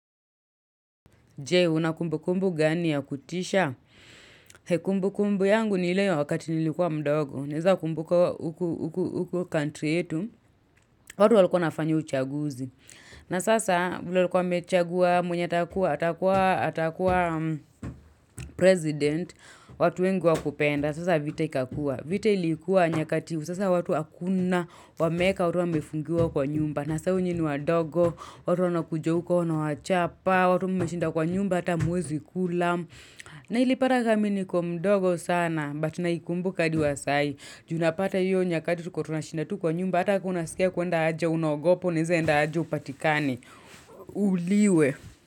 Je, una kumbu kumbu gani ya kutisha? Kumbu kumbu yangu ni ile wakati nilikuwa mdogo. Naeza kumbuka huku huku huku country yetu. Watu walikuwa wanafanya uchaguzi. Na sasa, vile walikua wamechagua mwenye atakuwa atakuwa president. Watu wengi hawakupenda. Sasa vita ikakua. Vita likuwa nyakati. Sasa watu hakuna. Wameeka, watu wamefungiwa kwa nyumba. Na saa hiyo nyinyi ni wadogo, watu wanakuja huko, wanawachapa. Watu mmeshinda kwa nyumba hata hamwezi kula. Na ilipata kaa mi niko mdogo sana. But naikumbuka hadi wa sai. Juu unapata hiyo nyakati tulikua tunashinda tu kwa nyumba hata kaa unasikia kuenda haja unaogopa. Unaeza enda haja upatikane. Uuliwe.